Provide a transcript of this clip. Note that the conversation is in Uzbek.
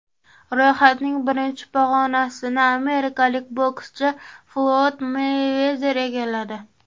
Ro‘yxatning birinchi pog‘onasini amerikalik bokschi Floyd Meyvezer egalladi.